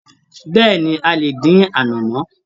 Bẹ́ẹ̀ni, a lè dín anamọ.